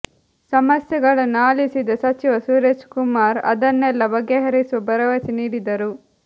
ಸಮಸ್ಯೆಗಳನ್ನು ಆಲಿಸಿದ ಸಚಿವ ಸುರೇಶ್ ಕುಮಾರ್ ಅದನ್ನೆಲ್ಲ ಬಗೆಹರಿಸುವ ಭರವಸೆ ನೀಡಿದರು